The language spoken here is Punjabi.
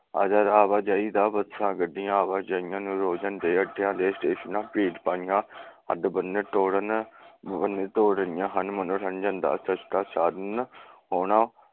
ਆਵਾਜਾਈ ਦਾ ਬੱਸਾਂ, ਗੱਡੀਆਂ ਆਵਾਜਾਈਆਂ ਨਿਰੋਜਨ ਦੇ ਅੱਡਿਆ ਦੇ ਸਟੇਸ਼ਨਾਂ ਭੀੜ ਹੱਦਬੰਨੇ ਤੋੜਨ ਤੋੜ ਰਹੀਆ ਹਨ। ਮਨੋਰੰਜਨ ਦਾ ਸਸਤਾ ਸਾਧਨ ਹੋਣਾ